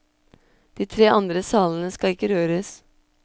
De tre andre salene skal ikke røres.